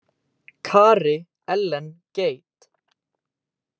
Kari Ellen Gade.